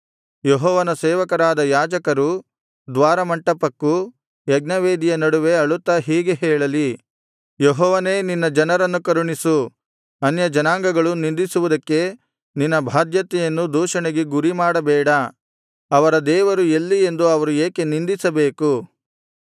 ಯೆಹೋವನ ಸೇವಕರಾದ ಯಾಜಕರು ದ್ವಾರಮಂಟಪಕ್ಕೂ ಯಜ್ಞವೇದಿಯ ನಡುವೆ ಅಳುತ್ತಾ ಹೀಗೆ ಹೇಳಲಿ ಯೆಹೋವನೇ ನಿನ್ನ ಜನರನ್ನು ಕರುಣಿಸು ಅನ್ಯಜನಾಂಗಗಳು ನಿಂದಿಸುವುದಕ್ಕೆ ನಿನ್ನ ಬಾಧ್ಯತೆಯನ್ನು ದೂಷಣೆಗೆ ಗುರಿಮಾಡಬೇಡ ಅವರ ದೇವರು ಎಲ್ಲಿ ಎಂದು ಅವರು ಏಕೆ ನಿಂದಿಸಬೇಕು